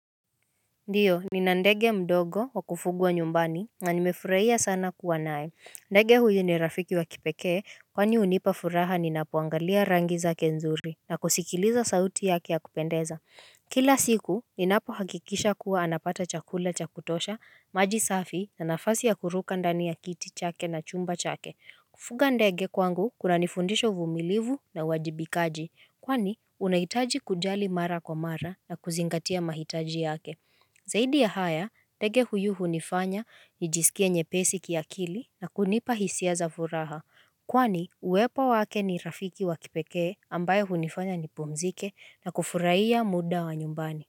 Ndiyo ni na ndege mdogo wa kufugwa nyumbani na nimefurahia sana kuwa nae. Ndege huyu ni rafiki wa kipekee kwani hunipa furaha ninapo angalia rangi zake nzuri na kusikiliza sauti yake ya kupendeza Kila siku ni napo hakikisha kuwa anapata chakula cha kutosha, maji safi na nafasi ya kuruka ndani ya kiti chake na chumba chake. Kufuga ndege kwangu kuna nifundisha uvumilivu na uwajibikaji kwani unahitaji kujali mara kwa mara na kuzingatia mahitaji yake Zaidi ya haya, ndege huyu hunifanya nijisikie nyepesi ki akili na kunipa hisia za furaha, kwani uwepo wake ni rafiki wakipekee ambaye hunifanya nipumzike na kufurahiya muda wa nyumbani.